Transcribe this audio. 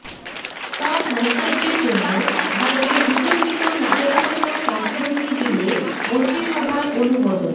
সব মন্তব্যের জন্য ভারতের বিতর্কিত নাগরিকত্ব সংশোধনী বিলে মন্ত্রিসভার অনুমোদন